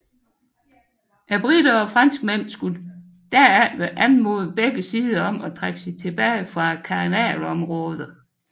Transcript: Briterne og franskmændene skulle derefter anmode begge sider om at trække sig tilbage fra kanalzonen